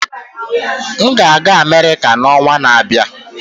M ga-aga Amerika n'ọnwa na-abịa.